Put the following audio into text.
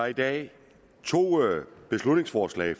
i dag to beslutningsforslag